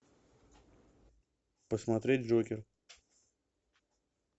посмотреть джокер